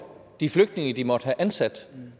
de flygtninge de måtte have ansat selv